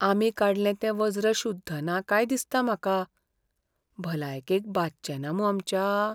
आमी काडलें तें वज्र शुद्ध ना काय दिसता म्हाका. भलायकेक बादचेंना मूं आमच्या?